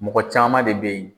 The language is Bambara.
Mɔgɔ caman de bɛ ye.